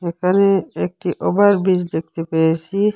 এখানে একটি ওভারব্রিজ দেখতে পেয়েসি।